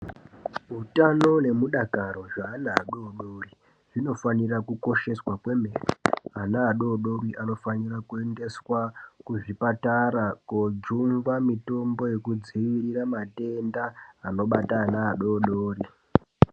Utano nemudakaro zvaana adodori, zvinofanira kukosheswa kwemene. Ana adodori ava anofanira kuendeswa kuzvipatara kojungwa mitombo yekudzivirira matenda anobata ana adodori.